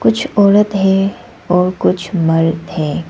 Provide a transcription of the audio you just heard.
कुछ औरत है और कुछ मर्द है।